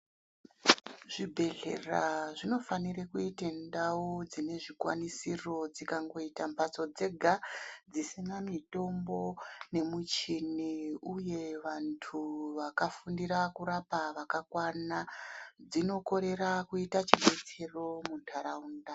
Zvibhehlera zvinofanire kuite ndau dzine zvikwanisiro. Dzikangoita mbatso dzega dzisina mitombo nemichini uye vantu vakafundira kurapa vakakwana dzinokorera kuita chibetsero muntaraunda.